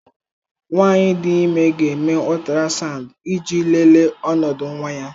Nwanyị dị ime ga-eme ultrasound iji lelee ọnọdụ nwa ya.